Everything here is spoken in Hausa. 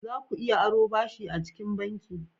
Za ku iya aro ɓashi acikin banki.